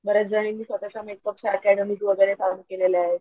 जणींनी स्वतःचा makeup academy वैगेरे चालू केलेल्या आहेत,